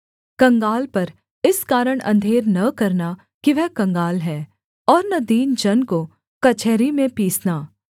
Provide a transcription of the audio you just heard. कंगाल पर इस कारण अंधेर न करना कि वह कंगाल है और न दीन जन को कचहरी में पीसना